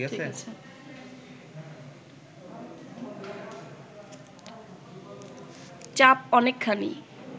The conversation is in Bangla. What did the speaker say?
চাপ অনেকখানি